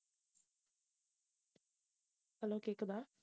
hello கேக்குதா